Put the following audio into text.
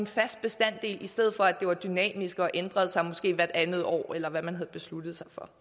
fast tal i stedet for at det var dynamisk og måske ændrede sig hvert andet år eller hvad man nu besluttede sig for